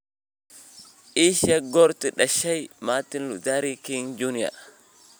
ii sheeg goortuu dhashay martin luther king junior